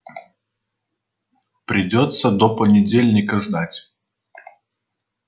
придётся до понедельника ждать